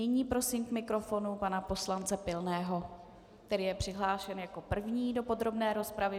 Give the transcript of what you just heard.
Nyní prosím k mikrofonu pana poslance Pilného, který je přihlášen jako první do podrobné rozpravy.